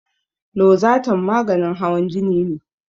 Lozatan maganin hawan jini ne